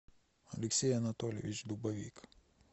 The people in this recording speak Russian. алексей анатольевич дубовик